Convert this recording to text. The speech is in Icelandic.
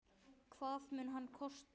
Hvað mun hann kosta?